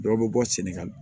Dɔ bɛ bɔ sɛnɛgali